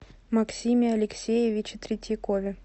максиме алексеевиче третьякове